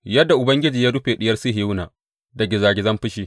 Yadda Ubangiji ya rufe Diyar Sihiyona da gizagizan fushi!